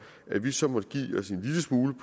at vi så måtte give os en lille smule